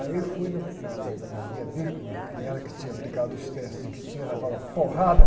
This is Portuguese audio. Aí eu fui na, na, na, que era ela que tinha aplicado os testes e que tinha levado a porrada.